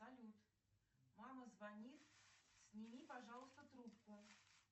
салют мама звонит сними пожалуйста трубку